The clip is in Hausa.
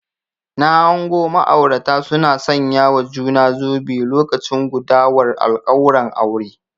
Na hango ma'aurata suna sanyawa juna zobe lokacin gudawar alkawuran aure